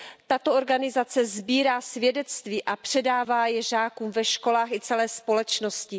Tato organizace sbírá svědectví a předává je žákům ve školách i celé společnosti.